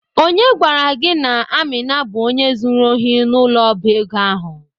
Onye gwara gi na Amina bu onye zuru ohi n'ulo oba ego?